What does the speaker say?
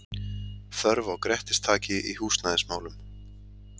Þörf á Grettistaki í húsnæðismálum